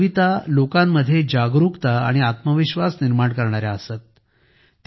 त्यांच्या कविता लोकांमध्ये जागरुकता आणि आत्मविश्वास निर्माण करणाऱ्या असत